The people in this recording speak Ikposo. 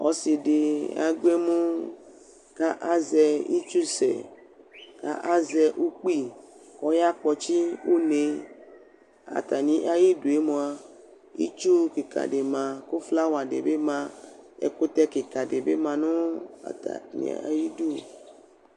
Ɔsɩ dɩ agbɔ emu, kʋ azɛ itsusɛ, kʋ asɛ ukpi, kʋ ɔyakpɔtsɩ une, ayidue mʋa, itsu kɩka dɩ ma kʋ flawa di bɩ ma, ɛkʋtɛ kɩka dɩ bɩ ma nʋ atamɩ idu